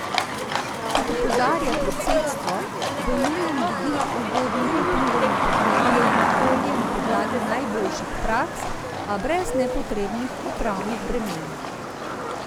Kot opozarja predsedstvo, bo nujen vidik ugodnih vplivov na podnebje in okolje na podlagi najboljših praks, a brez nepotrebnih upravnih bremen.